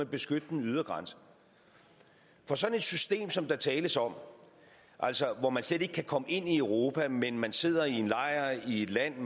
beskytte den ydre grænse for sådan et system som der tales om altså hvor man slet ikke kan komme ind i europa men men sidder i en lejr i et land